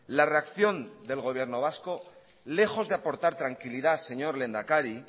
la reacción del gobierno vasco lejos de aportar tranquilidad señor lehendakari